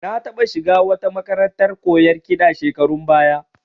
Na taɓa shiga wata makarantar koyon kiɗa shekarun baya